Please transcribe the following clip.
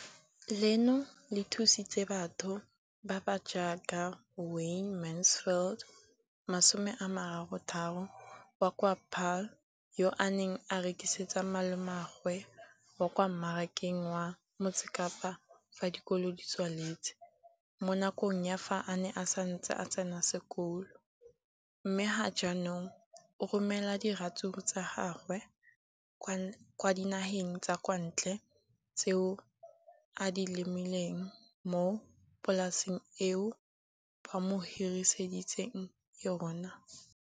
leno le thusitse batho ba ba jaaka Wayne Mansfield, 33, wa kwa Paarl, yo a neng a rekisetsa malomagwe kwa Marakeng wa Motsekapa fa dikolo di tswaletse, mo nakong ya fa a ne a santse a tsena sekolo, mme ga jaanong o romela diratsuru tsa gagwe kwa dinageng tsa kwa ntle tseo a di lemileng mo polaseng eo ba mo hiriseditseng yona.